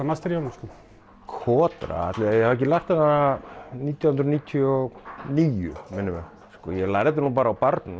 master í honum kotra ætli ég hafi ekki lært hana nítján hundruð níutíu og níu minnir mig sko ég lærði þetta nú bara á barnum